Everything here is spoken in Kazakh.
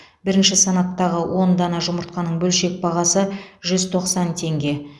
бірінші санаттағы он дана жұмыртқаның бөлшек бағасы жүз тоқсан теңге